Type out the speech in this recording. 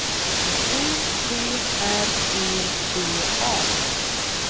U T R E D A